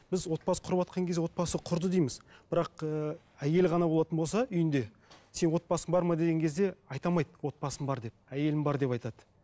біз отбасы құрыватқан кезде отбасы құрды дейміз бірақ ііі әйел ғана болатын болса үйінде сен отбасың бар ма деген кезде айта алмайды отбасым бар деп әйелім бар деп айтады